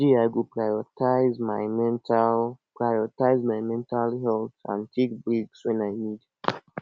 today i go prioritize my mental prioritize my mental health and take breaks when i need